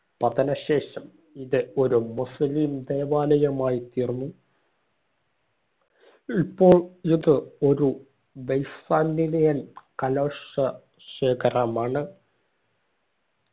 പതന ശേഷം ഇത് ഒരു മുസ്ലിം ദേവാലയമായി തീർന്നു ഇപ്പോൾ ഇത് ഒരു കലോഷ ശേഖരമാണ്